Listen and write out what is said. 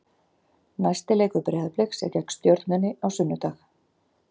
Næsti leikur Breiðabliks er gegn Stjörnunni á sunnudag.